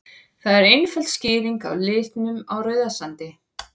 Það er einföld skýring á litnum á Rauðasandi.